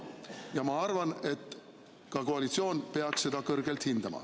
Ja ma arvan, et ka koalitsioon peaks seda kõrgelt hindama.